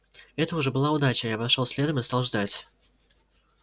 это уже была удача я вошёл следом и стал ждать